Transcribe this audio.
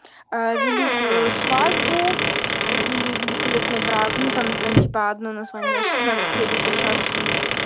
а великую свадьбу или великолепный брак ну там на типа одно название шестнадцать серии по часу